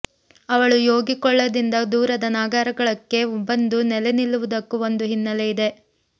ಅವಳು ಯೋಗಿಕೊಳ್ಳದಿಂದ ದೂರದ ನಾಗರಾಳಕ್ಕೆ ಬಂದು ನೆಲೆನಿಲ್ಲುವುದಕ್ಕು ಒಂದು ಹಿನ್ನೆಲೆ ಇದೆ